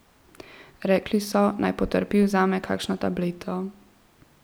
Rekli so, naj potrpi in vzame kakšno tableto.